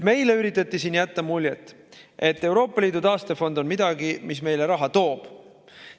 Meile üritati siin jätta muljet, et Euroopa Liidu taastefond on midagi, mis meile raha toob.